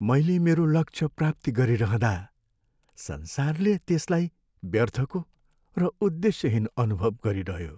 मैले मेरो लक्ष्य प्राप्ति गरिरहँदा संसारले त्यसलाई व्यर्थको र उद्देश्यहीन अनुभव गरिरह्यो।